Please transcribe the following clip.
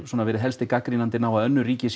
helst gagnrýnt önnur ríki